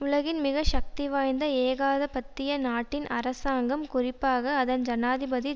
உலகின் மிக சக்தி வாய்ந்த ஏகாதபத்திய நாட்டின் அரசாங்கம் குறிப்பாக அதன் ஜனாதிபதி